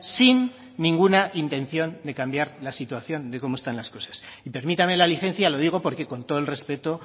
sin ninguna intención de cambiar la situación de cómo están las cosas y permítame la licencia lo digo porque con todo el respeto